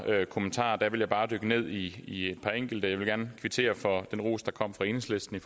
kommentarer jeg vil bare dykke ned i i et par enkelte jeg vil gerne kvittere for den ros der kom fra enhedslisten